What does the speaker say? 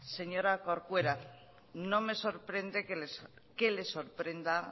señora corcuera no me sorprende que le sorprenda